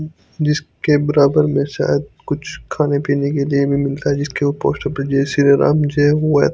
जिसके बराबर में शायद कुछ खाने पीने के भी मिलता है जिसके पोस्टर पर जय सीया राम जय --